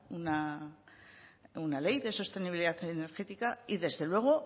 una ley de sostenibilidad energética y desde luego